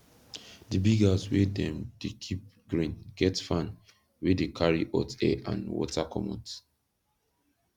di big house wey dem dey keep grain get fan wey de carry hot air and water comot